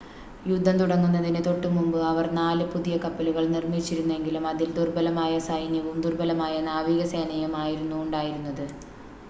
യുദ്ധം തുടങ്ങുന്നതിന് തൊട്ടുമുമ്പ് അവർ നാല് പുതിയ കപ്പലുകൾ നിർമ്മിച്ചിരുന്നെങ്കിലും അതിൽ ദുർബലമായ സൈന്യവും ദുർബലമായ നാവികസേനയും ആയിരുന്നു ഉണ്ടായിരുന്നത്